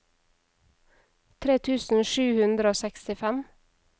tre tusen sju hundre og sekstifem